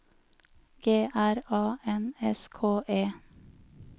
G R A N S K E